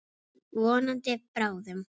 Vonandi bráðum.